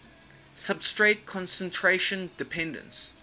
substrate concentration dependence